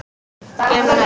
Gerum það næst.